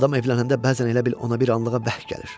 Adam evlənəndə bəzən elə bil ona bir anlığa bəxt gəlir.